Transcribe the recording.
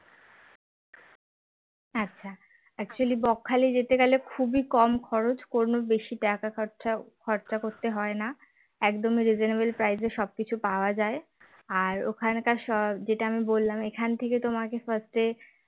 আচ্ছা actually বকখালি যেতে গেলে খুবই কম খরচ কোনো বেশি টাকা খরচা খরচা করতে হয় না একদমই reasonable price এ সবকিছু পাওয়া যায় আর ওখানকার যেটা আমি বললাম এখান থেকে তোমাকে first এ